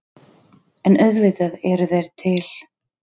En auðvitað eru þeir til.